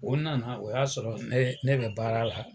O nana o y'a sɔrɔ ne ne bɛ baara la